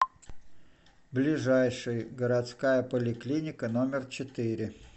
ближайший городская поликлиника номер четыре